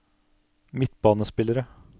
midtbanespillere